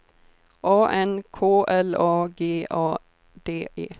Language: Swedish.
A N K L A G A D E